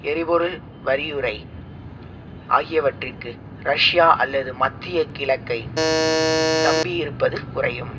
எரிபொருள் யறிவுரை ஆகியவற்றிற்கு ரஷ்யா அல்லது மத்திய கிழக்கை நம்பியிருப்பது குறையும்